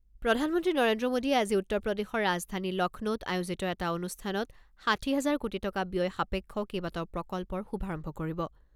প্ৰধানমন্ত্ৰী নৰেন্দ্ৰ মোডীয়ে আজি উত্তৰ প্ৰদেশৰ ৰাজধানী লক্ষ্ণৌত আয়োজিত এটা অনুষ্ঠানত ষাঠি হাজাৰ কোটি টকা ব্যয় সাপেক্ষ কেইবাটাও প্ৰকল্পৰ শুভাৰম্ভ কৰিব।